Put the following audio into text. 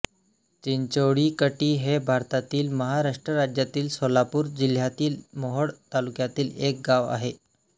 चिंचोळीकटी हे भारतातील महाराष्ट्र राज्यातील सोलापूर जिल्ह्यातील मोहोळ तालुक्यातील एक गाव आहे